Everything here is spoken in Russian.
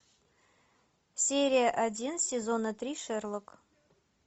серия один сезона три шерлок